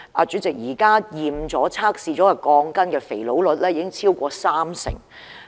主席，現時已檢驗並經測試的鋼筋的不合格率已經超過三成。